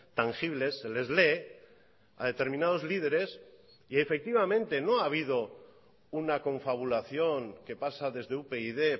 tangibles se les lee a determinados lideres y efectivamente no ha habido una confabulación que pasa desde upyd